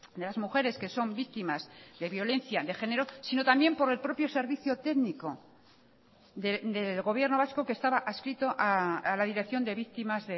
de las mujeres que son víctimas de violencia de género sino también por el propio servicio técnico del gobierno vasco que estaba adscrito a la dirección de víctimas